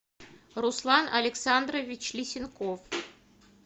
руслан александрович лисенков